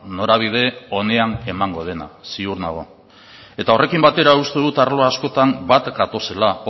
norabide onean emango dena ziur nago eta horrekin batera uste dut arlo askotan bat gatozela